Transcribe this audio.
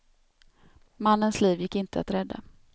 Mannens liv gick inte att rädda.